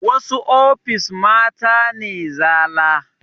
Wasu ofis mata ne zala